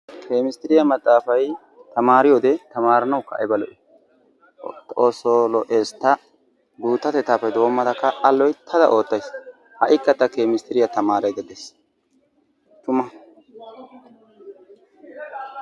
Kemesttiriya maxaafay tamaariyode tamaaranawukka ayba lo'ii! Xoossoo lo"ees! Taani guuttatettaappe doommadakka a loyttada oottayis. Ha"ikka ta kemisttiriya tamaaraydda dayis. Tuma